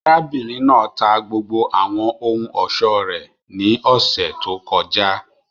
Arabinrin naa ta gbogbo awọn ohun-ọṣọ rẹ ni ọsẹ to kọja.